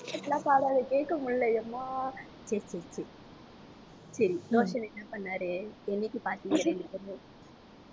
இப்படியெல்லாம் பாடாதே கேட்க முடியலை எம்மா